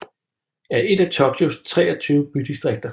er et af Tokyos 23 bydistrikter